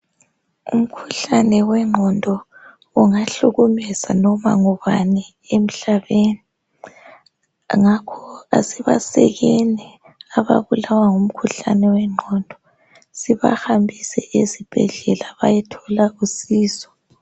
Umkhuhlane wengondo ungahlukumeza noma ngubani emhlabeni ngakho asibasekeni ababulawa ngumkhuhlane wengqondo sibahambise ezibhedlela bayethola usizo.